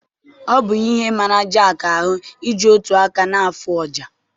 Ọ bụ ihe mara Jeki ahụ iji otu aka na afụ ọjà